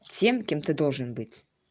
тем кем ты должен быть